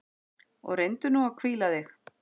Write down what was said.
Og reyndu nú að hvíla þig.